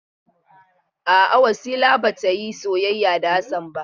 A'a Wasila ba ta yi soyayya da Hassan ba.